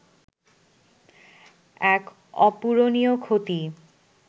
এক অপূরনীয় ক্ষতি